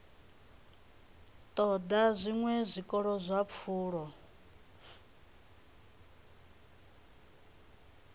ṱoḓa zwiṅwe zwiko zwa pfulo